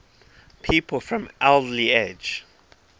people from alderley edge